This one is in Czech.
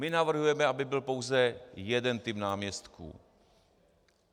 My navrhujeme, aby byl pouze jeden typ náměstků.